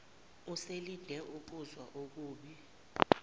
eselinde ukuzwa okubi